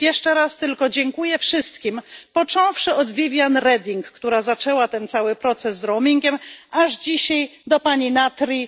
Więc jeszcze raz tylko dziękuję wszystkim począwszy od Viviane Reding, która zaczęła ten cały proces z roamingiem, aż dzisiaj do pani Natri.